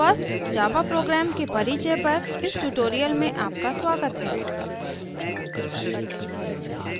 first java program first java program के परिचय पर इस tutorial में आपका स्वागत हैं